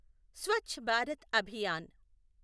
Swachh Bharat Abhiyan